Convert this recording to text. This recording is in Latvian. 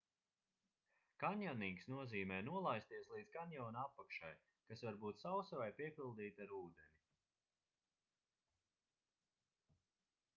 kanjonings nozīmē nolaisties līdz kanjona apakšai kas var būt sausa vai piepildīta ar ūdeni